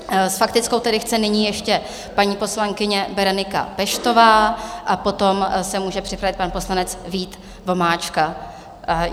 S faktickou tedy chce nyní ještě paní poslankyně Berenika Peštová a potom se může připravit pan poslanec Vít Vomáčka.